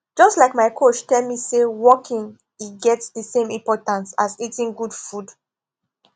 just like my coach tell me say walking e get the same importance as eating good food